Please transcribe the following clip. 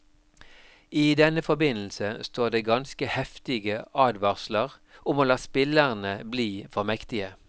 I denne forbindelse står det ganske heftige advarsler om å la spillerne bli for mektige.